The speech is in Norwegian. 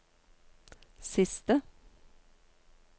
siste